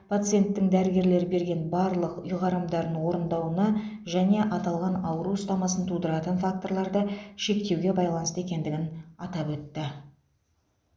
пациенттің дәрігерлер берген барлық ұйғарымдарын орындауына және аталған ауру ұстамасын тудыратын факторларды шектеуге байланысты екендігін атап өтті